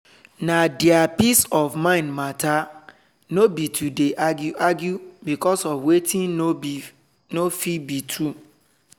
na deir peace of mind matter nor be to dey argue argue becos of wetin nor fit be true